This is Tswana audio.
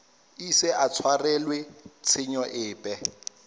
ise a tshwarelwe tshenyo epe